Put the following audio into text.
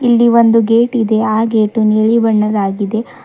ಇಲ್ಲಿ ಒಂದು ಗೇಟ್ ಇದೆ ಆ ಗೇಟು ನೀಲಿ ಬಣ್ಣದಾಗಿದೆ.